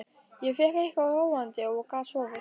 Ég fékk eitthvað róandi og gat sofið.